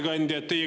Hea ettekandja!